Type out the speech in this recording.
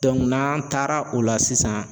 n'an taara o la sisan